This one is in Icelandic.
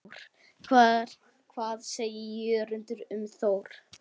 Hvað segir Jörundur um Þór?